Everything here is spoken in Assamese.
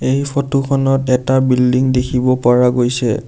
এই ফটো খনত এটা বিল্ডিং দেখিব পাৰা গৈছে।